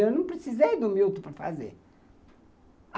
Eu não precisei do Milton para fazer.